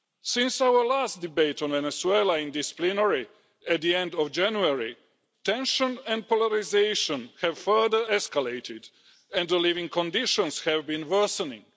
Since our last debate on Venezuela in this plenary at the end of January, tension and polarisation have further escalated and living conditions have been worsening.